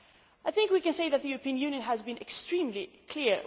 I think we can say that the European Union has been extremely clear.